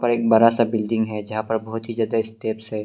और एक बरा सा बिल्डिंग है जहां पर बहुत ही ज्यादा स्टेप्स है।